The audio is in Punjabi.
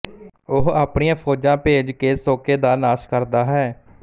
ਉਹ ਆਪਣੀਆਂ ਫੌਜਾਂ ਭੇਜ ਕੇ ਸੋਕੇ ਦਾ ਨਾਸ਼ ਕਰਦਾ ਹੈ